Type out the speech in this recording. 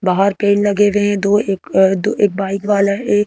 बाहर पेड़ लगे हुए हैं दो एक दो एक बाइक वाला है एक।